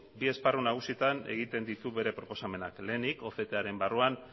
bi esparru nagusitan egiten ditu bere proposamenak lehenik octaren barruan